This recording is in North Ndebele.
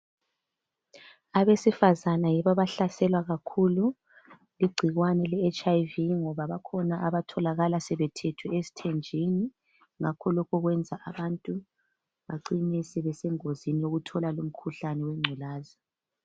Abesifazane yibo abahlaselwa kakhulu ligcikwane leHIV ngoba bakhona abatholakala sebethethwe esithenjini ngakho lokho kwenza abantu bacine sebesengozini yokuthola lomkhuhlane wengculazi.